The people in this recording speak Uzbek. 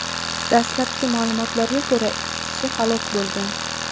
Dastlabki ma’lumotlarga ko‘ra, ikki kishi halok bo‘lgan.